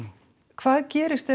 hvað gerist ef